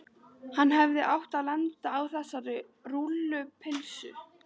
Hann hefði átt að lenda á þessari rúllupylsu.